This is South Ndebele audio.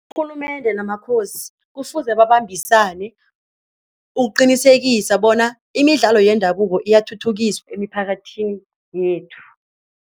Urhulumende namakhosi kufuze babambisane ukuqinisekisa bona imidlalo yendabuko iyathuthukiswa emiphakathini yethu.